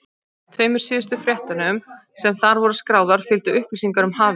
Tveimur síðustu fréttunum, sem þar voru skráðar, fylgdu upplýsingar um hafís.